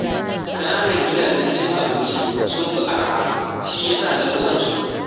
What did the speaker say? Ƙananan gidajen cin abinci sun fi arha, shi ya sa na fi son su